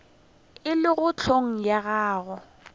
e lego hleng ga gagwe